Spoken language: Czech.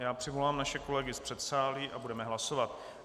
Já přivolám naše kolegy z předsálí a budeme hlasovat.